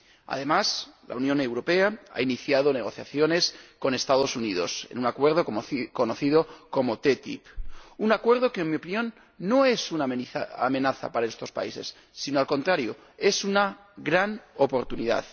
Además, la Unión Europea ha iniciado negociaciones con los Estados Unidos en un acuerdo conocido como TTIP, un acuerdo que, en mi opinión, no es una amenaza para estos países sino, al contrario, una gran oportunidad.